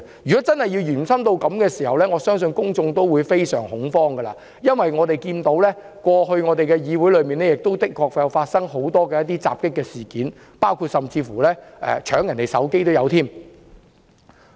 如果真的延伸至此，我相信公眾會非常恐慌，因為我們看見，過去議會的確曾發生多宗襲擊事件，甚至包括搶奪別人的手機。